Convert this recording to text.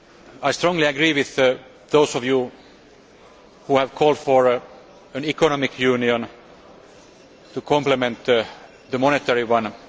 I strongly agree with those of you who have called for an economic union to complement the monetary one.